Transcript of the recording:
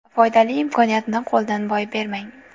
Foydali imkoniyatni qo‘ldan boy bermang.